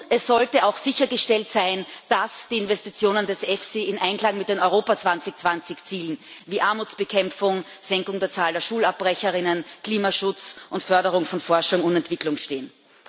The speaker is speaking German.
Es sollte auch sichergestellt sein, dass die Investitionen des EFSI in Einklang mit den Europa 2020 Zielen wie Armutsbekämpfung, Senkung der Zahl der Schulabbrecher, Klimaschutz und Förderung von Forschung und Entwicklung stehen.